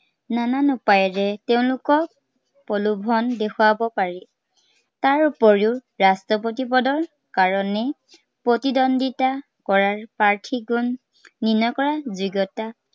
নানান উপায়েৰে তেওঁলোকক প্ৰলোভন দেখুৱাব পাৰি। তাৰ উপৰিও ৰাষ্ট্ৰপতি পদৰ কাৰনে, প্ৰতিদ্বন্দিতা কৰাৰ প্ৰাৰ্থীজন নিৰ্ণয় কৰাৰ যোগ্য়তা